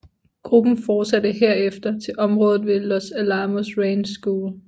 Gruppen fortsatte herfter til området ved Los Alamos Ranch School